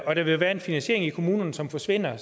og der vil være en finansiering i kommunerne som forsvinder